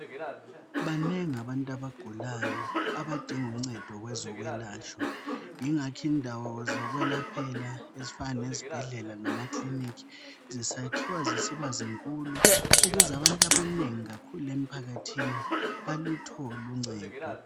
Banengi abantu abagulayo abadinga uncedo kwezokwelatshwa . Ingakho indawo zokwelaphela ezifana lezibhedlela lama ekiliniki zisakhiwa zisiba zinkulu .Ukuze abantu abanengi kakhulu emphakathini baluthole uncedo .